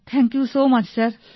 thank you so much sir